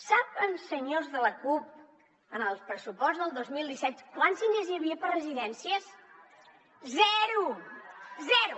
saben senyors de la cup en el pressupost del dos mil disset quants diners hi havia per a residències zero zero